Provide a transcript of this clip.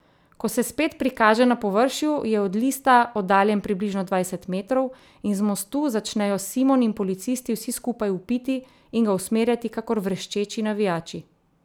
Ko se spet prikaže na površju, je od lista oddaljen približno dvajset metrov, in z mostu začnejo Simon in policisti vsi skupaj vpiti in ga usmerjati kakor vreščeči navijači.